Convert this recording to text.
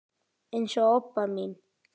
eins og Obba mín.